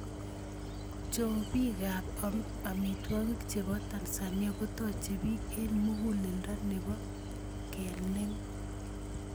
Chobiikab amtwogiik chebo Tanzania kotochei biik eng muguleldo nebo kenem.